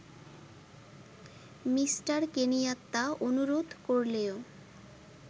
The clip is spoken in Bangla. মি: কেনিয়াত্তা অনুরোধ করলেও